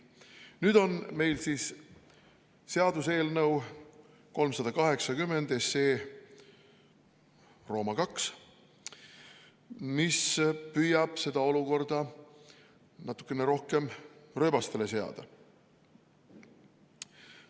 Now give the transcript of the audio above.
Nüüd on meil siin seaduseelnõu 380, mis püüab seda olukorda natuke rohkem rööbastele seada.